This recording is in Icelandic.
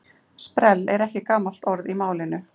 Sprell er ekki gamalt orð í málinu.